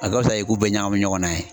A ka wusa i k'u bɛɛ ɲagami ɲɔgɔn na yen.